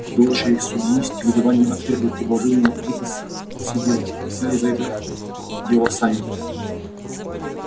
дочери судьи с негодованием отвергли предложение вызвать сиделку и взялись за это дело сами